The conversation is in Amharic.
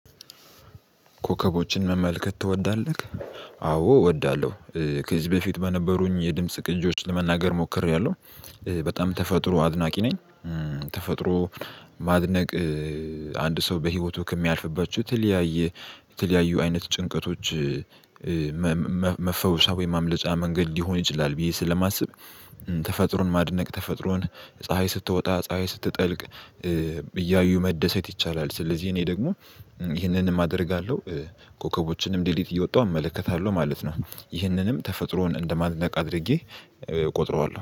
ኮከቦችን መመልከት ትወዳለህ? አዎ እወዳለሁ። ከዚህ በፊት በነበሩኝ የድምጽ ቅጂዎች ለመናገር ሞክሬያለሁ። በጣም ተፈጥሮ አድናቂ ነኝ። ተፈጥሮ ማድነቅ አንድ ሰው በህይወቱ ከሚያልፍባቸው የተለያየ የተለያዩ አይነት ጭንቀቶች። መፈወሻ ወይም ማምለጫ መንገድ ሊሆን ይችላል ብዬ ስለማስብ። ተፈጥሮን ማድነቅ ተፈጥሮን ፀሀይ ስትወጣ ፀሀይ ስትጠልቅ እያዩ መደሰት ይቻላል። ስለዚህ እኔ ደግሞ ይህንንም አደርጋለሁ። ኮከቦችንም ለሊት እየወጣሁ እመለከታለሁ ማለት ነው። ይህንንም ተፈጥሮን እንደማድነቅ አድርጌ እቆጥረዋለሁ